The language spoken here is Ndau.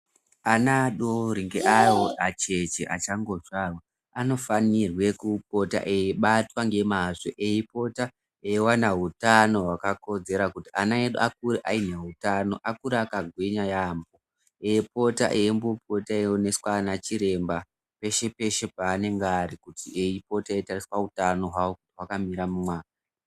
Ana adori ngeavo acheche achangozvarwa, anofanirwe kupota eibatwa ngemazvo. Eipota eiwana hutano hwakakodzera kuti ana edu akure ane hutano. Akure akagwinya yaamho, eipota eimbopota eioneswa ana chiremba peshe peshe paanenge ari kuti eipota eitariswa utano hwavo kuti hwakamira mumwa..